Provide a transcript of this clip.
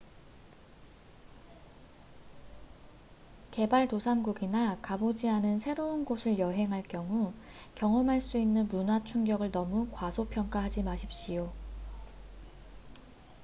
개발 도상국이나 가보지 않은 새로운 곳을 여행할 경우 경험할 수 있는 문화 충격을 너무 과소평가하지 마십시오